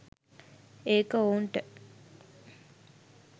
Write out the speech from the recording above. ඒක ඔවුන්ට